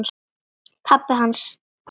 Pabbi hans?